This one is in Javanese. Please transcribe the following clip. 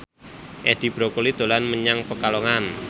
Edi Brokoli dolan menyang Pekalongan